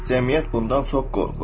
Cəmiyyət bundan çox qorxur.